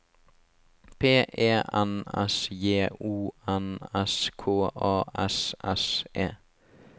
P E N S J O N S K A S S E